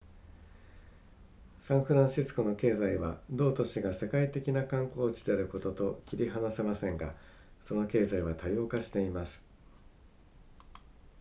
サンフランシスコの経済は同都市が世界的な観光地であることと切り離せませんがその経済は多様化しています